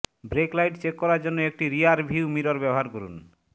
break light check করার জন্য একটি রিয়ারভিউ মিরর ব্যবহার করুন